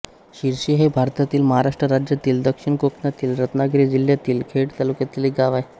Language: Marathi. शिरशी हे भारतातील महाराष्ट्र राज्यातील दक्षिण कोकणातील रत्नागिरी जिल्ह्यातील खेड तालुक्यातील एक गाव आहे